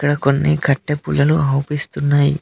ఇక్కడ కొన్ని కట్టె పుల్లలు ఆవుపిస్తున్నాయి.